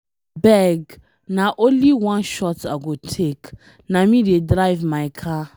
Abeg, na only one shot I go take, na me dey drive my car.